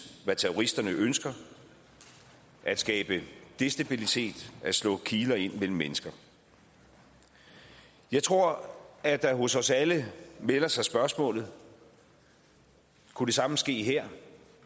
hvad terroristerne ønsker at skabe destabilitet at slå en kile ind mellem mennesker jeg tror at der hos os alle melder sig spørgsmålet kunne det samme ske her